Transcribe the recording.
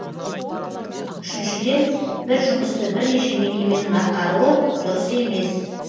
үшіншіден бір жұмысты бірнеше мекеменің атқаруы дұрыс емес